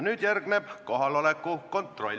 Nüüd järgneb kohaloleku kontroll.